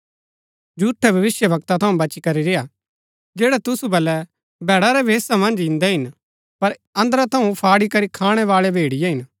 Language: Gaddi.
झूठै भविष्‍यवक्ता थऊँ बची करी रेय्आ जैड़ै तुसु बल्लै भैड़ा रै भेषा मन्ज इन्दै हिन पर अन्दरा थऊँ फाड़ी करी खाणैबाळै भेड़िये हिन